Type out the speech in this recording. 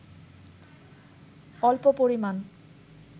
অল্প পরিমাণ